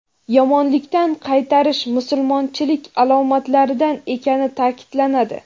yomonlikdan qaytarish musulmonchilik alomatlaridan ekani ta’kidlanadi.